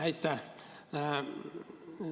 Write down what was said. Aitäh!